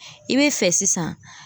I be fɛ sisan.